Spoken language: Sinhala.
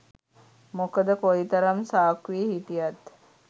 මොකද කොයි තරම් සාක්කුවෙ හිටියත්